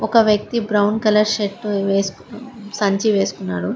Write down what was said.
ఒక వ్యక్తి brown colour shirt వేసుకొని సంచి వేసుకున్నాడు.